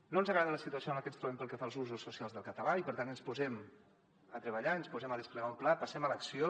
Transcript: no ens agrada la situació en la que ens trobem pel que fa als usos socials del català i per tant ens posem a treballar i ens posem a desplegar un pla passem a l’acció